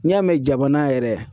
N'i y'a mɛn jamana yɛrɛ